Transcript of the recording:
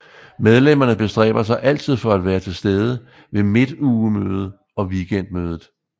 Medlemmerne bestræber sig altid for at være til stede ved Midtugemøde og Weekendmødet